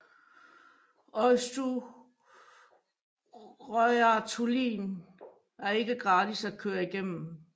Eysturoyartunnilin er ikke gratis at køre igennem